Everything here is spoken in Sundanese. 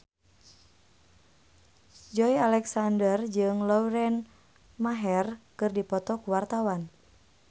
Joey Alexander jeung Lauren Maher keur dipoto ku wartawan